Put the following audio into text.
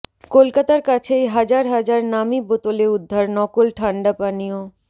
কলকাতার কাছেই হাজার হাজার নামী বোতলে উদ্ধার নকল ঠান্ডা পানীয়